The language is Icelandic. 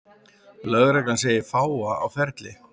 Lögreglan segir fáa á ferli